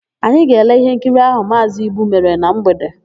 Anyị ga-ele íhénkiri áhụ̀ Maazị Ibu mere na mgbede.